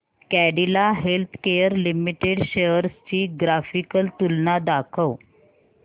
Cadila healthcare limited shares ची graphical तुलना दाखव